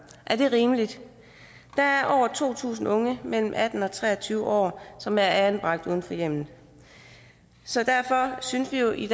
er det rimeligt der er over to tusind unge mellem atten og tre og tyve år som er anbragt uden for hjemmet så derfor synes vi i